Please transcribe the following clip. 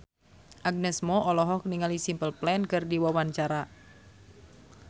Agnes Mo olohok ningali Simple Plan keur diwawancara